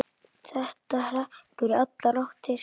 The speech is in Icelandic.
Þetta hrekkur í allar áttir.